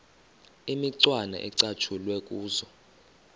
imicwana ecatshulwe kuzo